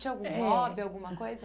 Tinha algum hobby, eh alguma coisa?